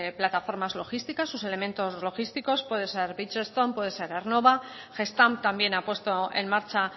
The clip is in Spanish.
plataformas logísticas sus elementos logísticos puede ser bridgestone puede ser aernnova gestamp también ha puesto en marcha